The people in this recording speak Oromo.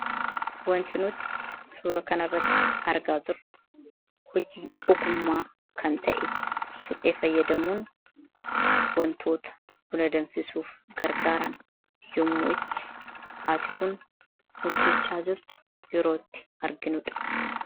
wanti nuti suura kanairratti argaa jirru hojii ogummaa kan ta'e suphee fayyadamuun wantoota buna danfisuuf gargaaran yommuu itti haati kun hojjechaa jirtu yerootti arginuudha